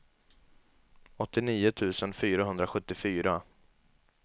åttionio tusen fyrahundrasjuttiofyra